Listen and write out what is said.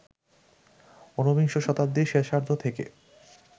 উনবিংশ শতাব্দীর শেষার্ধ থেকে